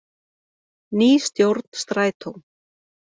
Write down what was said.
Ný stjórn Strætó